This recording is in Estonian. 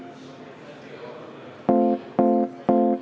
Kohtumiseni!